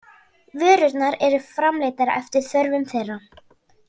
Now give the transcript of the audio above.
Vörurnar eru framleiddar eftir þörfum þeirra.